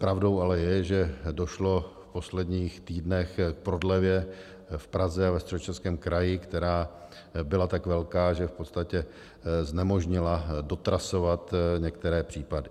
Pravdou ale je, že došlo v posledních týdnech k prodlevě v Praze a ve Středočeském kraji, která byla tak velká, že v podstatě znemožnila dotrasovat některé případy.